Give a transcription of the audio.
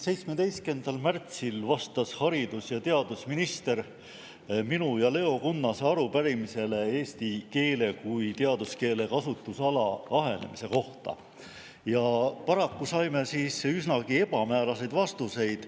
17. märtsil vastas siin haridus- ja teadusminister minu ja Leo Kunnase arupärimisele eesti keele kui teaduskeele kasutusala ahenemise kohta ja paraku saime üsnagi ebamääraseid vastuseid.